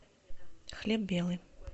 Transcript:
хлеб белый